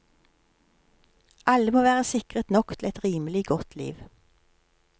Alle må være sikret nok til et rimelig godt liv.